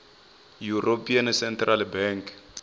european central bank